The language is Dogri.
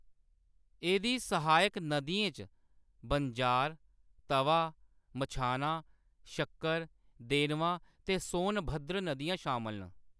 एह्‌‌‌दी सहायक नदियें च बंजार, तवा, मछना, शक्कर, देनवा ते सोनभद्र नदियां शामल न।